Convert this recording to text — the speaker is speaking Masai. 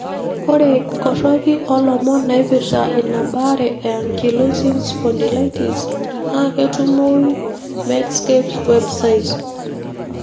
Ore inkoroki olomon naipirta ina baare e ankylosing spondylitis na ketumoyu Medscape's Web site.